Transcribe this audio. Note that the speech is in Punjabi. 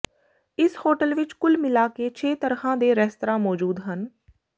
ਇਸ ਹੋਟਲ ਵਿੱਚ ਕੁਲ ਮਿਲਾ ਕੇ ਛੇ ਤਰਹ ਦੇ ਰੇਸਤਰਾ ਮੋਜੂਦ ਹਨ